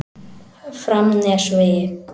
Framnesvegi